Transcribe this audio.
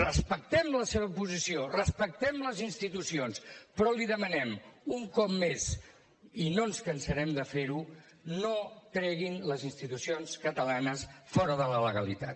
respectem la seva posició respectem les institucions però li demanem un cop més i no ens cansarem de fer ho no treguin les institucions catalanes fora de la legalitat